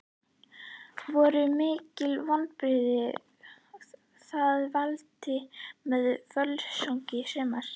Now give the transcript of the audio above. Voru mikil vonbrigði að falla með Völsungi í sumar?